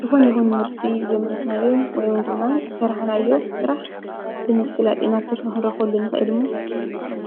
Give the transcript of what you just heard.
ዝኾነ ይኹን ምህርቲ ዘምርትናዮ ወይን ድማ ዝሠርኃናዮ ሥራሕ ብምፍላጥ ኢማተርፊኽንረኾሉንኽእልሙ